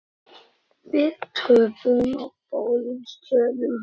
Við töpuðum á báðum stöðum.